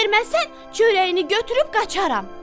Verməsən, çörəyini götürüb qaçarram!